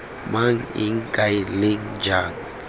mang eng kae leng jang